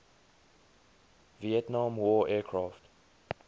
vietnam war aircraft